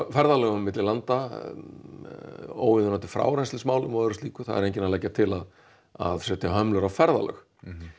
ferðalögum milli landa óviðunandi frárenslismálum og öðru slíku það er enginn að leggja til að að setja hömlur á ferðalög